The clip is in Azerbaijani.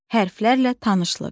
Hərflərlə tanışlıq.